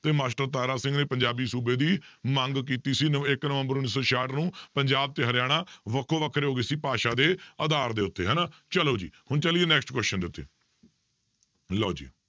ਤੇ ਮਾਸਟਰ ਤਾਰਾ ਸਿੰਘ ਨੇ ਪੰਜਾਬੀ ਸੂਬੇ ਦੀ ਮੰਗ ਕੀਤੀ ਸੀ ਨ~ ਇੱਕ ਨਵੰਬਰ ਉੱਨੀ ਸੌ ਛਿਆਹਠ ਨੂੰ ਪੰਜਾਬ ਤੇ ਹਰਿਆਣਾ ਵੱਖੋ ਵੱਖਰੇ ਹੋ ਗਏ ਸੀ ਭਾਸ਼ਾ ਦੇ ਆਧਾਰ ਦੇ ਉੱਤੇ ਹਨਾ ਚਲੋ ਜੀ ਹੁਣ ਚੱਲੀਏ next question ਦੇ ਉੱਤੇ ਲਓ ਜੀ